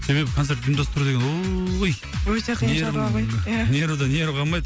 себебі концерт ұйымдастыру деген ой өте қиын шаруа ғой нервің нервідан нерві қалмайды